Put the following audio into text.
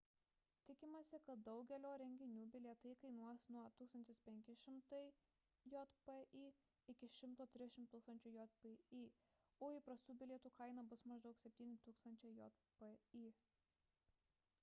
tikimasi kad daugelio renginių bilietai kainuos nuo 2500 jpy iki 130 000 jpy o įprastų bilietų kaina bus maždaug 7000 jpy